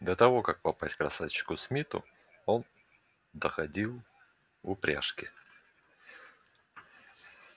до того как попасть к красавчику смиту он доходил в упряжке